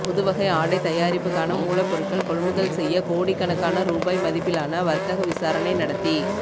புதுவகை ஆடை தயாரிப்புக்கான மூலப்பொருட்கள் கொள்முதல் செய்ய கோடிக்கணக்கான ரூபாய் மதிப்பிலான வர்த்தக விசாரணை நடத்தி